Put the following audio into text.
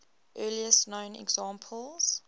earliest known examples